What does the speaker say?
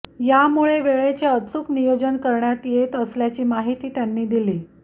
यामुळे वेळेचे अचूक नियोजन करण्यात येत असल्याची माहिती त्यांनी दिली